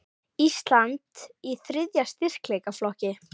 Ísland í þriðja styrkleikaflokki